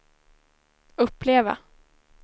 uppleva